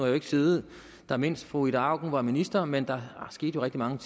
jo ikke siddet der mens fru ida auken var minister men der skete jo rigtig mange